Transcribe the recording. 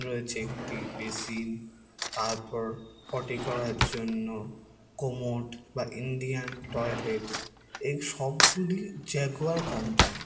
রয়েছে একটি বেসিন তারপর পটি করার জন্য কোমোট বা ইন্ডিয়ান টয়লেট । এই সবগুলি জ্যাগুয়ার কোম্পানী ।